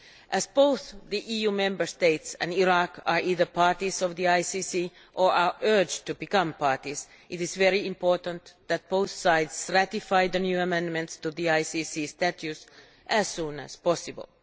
As both the EU Member States and Iraq are either parties of the ICC or are urged to become parties, it is very important that both sides ratify the new amendments to the ICC statutes as soon as possible.